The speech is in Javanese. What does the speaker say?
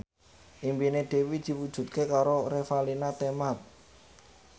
impine Dewi diwujudke karo Revalina Temat